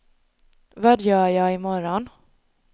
vad gör jag imorgon